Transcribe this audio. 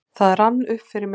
Það rann upp fyrir mér ljós: